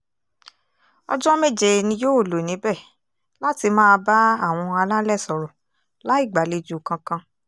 ọjọ́ méje ni yóò lò níbẹ̀ láti máa bá àwọn alálẹ̀ sọ̀rọ̀ láì gbàlejò kankan